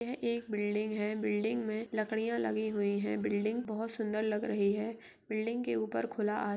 यह एक बिल्डिंग है। बिल्डिंग में लकड़ियां लगी हुए हैं। बि ल्डिंग बहोत सुन्दर लग रही है। बिल्डिंग के ऊपर खुला आस --